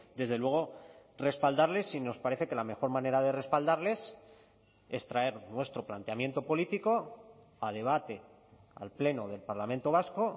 desde luego respaldarles y nos parece que la mejor manera de respaldarles es traer nuestro planteamiento político a debate al pleno del parlamento vasco